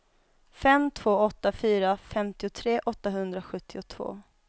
fem två åtta fyra femtiotre åttahundrasjuttiotvå